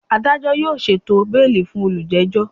Adajọ yoo ṣeto beeli fun olujejo!